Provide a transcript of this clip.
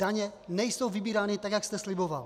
Daně nejsou vybírány tak, jak jste sliboval.